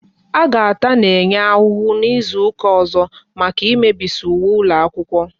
A ga-ata Nenye ahụ n'izuka ọzọ maka ị mebisi uwe ụlọ akwụkwọ